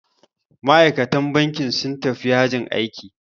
Ma'aikatan bankin sun tafi yajin aiki.